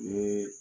Ni